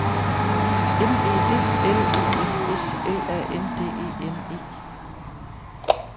M E D L E M S L A N D E N E